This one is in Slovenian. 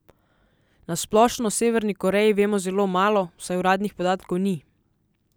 Na splošno o Severni Koreji vemo zelo malo, saj uradnih podatkov ni.